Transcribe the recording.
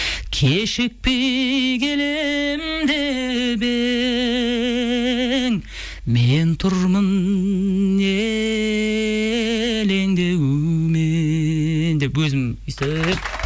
кешікпей келем деп ең мен тұрмын елеңдеумен деп өзім өйстіп